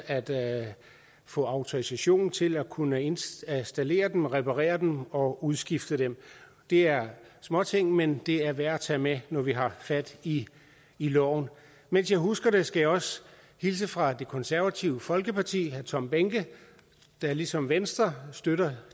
at at få autorisation til at kunne installere dem reparere dem og udskifte dem det er småting men det er værd at tage med når vi har fat i loven mens jeg husker det skal også hilse fra det konservative folkeparti herre tom behnke der ligesom venstre støtter